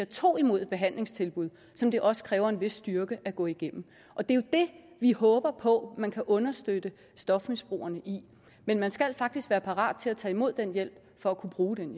tog imod et behandlingstilbud som det også kræver en vis styrke at gå igennem og det er jo det vi håber på at man kan understøtte stofmisbrugerne i men man skal faktisk være parat til at tage imod den hjælp for at kunne bruge den